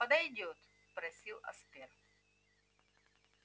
подойдёт спросил аспер